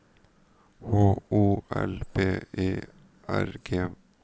H O L B E R G